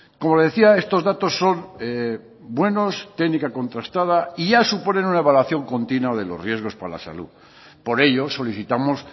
como le decía estos datos son buenos técnica contrastada y ya suponen una evaluación continua de los riesgos para la salud por ello solicitamos